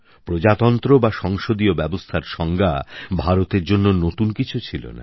প্রজাতন্ত্র বা সংসদীয় ব্যবস্থার সংজ্ঞা ভারতের জন্য নতুন কিছু ছিল না